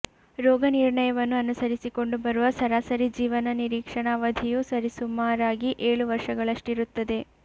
ರೋಗನಿರ್ಣಯವನ್ನು ಅನುಸರಿಸಿಕೊಂಡು ಬರುವ ಸರಾಸರಿ ಜೀವನ ನಿರೀಕ್ಷಣಾ ಅವಧಿಯು ಸರಿಸುಮಾರಾಗಿ ಏಳು ವರ್ಷಗಳಷ್ಟಿರುತ್ತದೆ